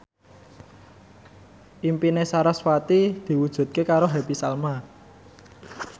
impine sarasvati diwujudke karo Happy Salma